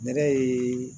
Nɛnɛ ye